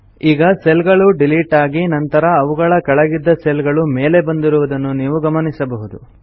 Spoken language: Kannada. ಈಗ ಸೆಲ್ ಗಳು ಡಿಲಿಟ್ ಆಗಿ ನಂತರ ಅವುಗಳ ಕೆಳಗಿದ್ದ ಸೆಲ್ ಗಳು ಮೇಲೆ ಬಂದಿರುವುದನ್ನು ನೀವು ಗಮನಿಸಬಹುದು